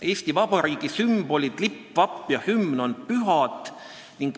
Eesti Vabariigi sümbolid – lipp, vapp ja hümn – on pühad.